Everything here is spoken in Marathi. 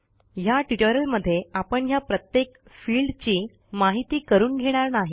ह्या ट्युटोरियलमध्ये आपण ह्या प्रत्येक फिल्डची माहिती करून घेणार नाही